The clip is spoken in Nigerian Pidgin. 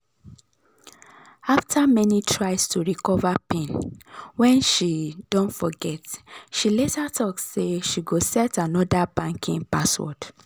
after many tries to recover pin wen she don forget she later talk say she go set anodr banking password